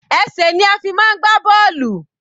Ẹsẹ̀ ni a fi máa ń gbá bọ́ọ̀lù.